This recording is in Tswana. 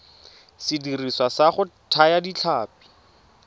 sediriswa sa go thaya ditlhapi